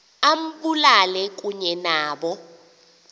ambulale kunye nabo